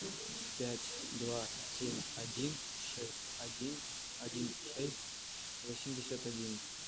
пять два семь один шесть один один шесть восемьдесят один